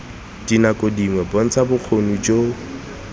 dinako dingwe bontsha bokgoni jo